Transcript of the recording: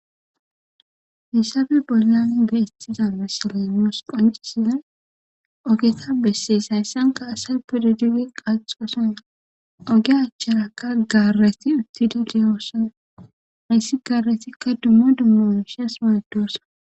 Haysapebollani beettiza bassalaymoos qoncisia ogeta bessees hayssanka asay pudadige qaxoosan oge achcharakka gaarreti uttidi deyoossana hayssi gaaretikka dummo dummoooshas waaddoosa